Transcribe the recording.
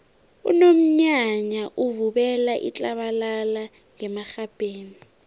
unomnyanya uvubela itlabalala ngemarhabheni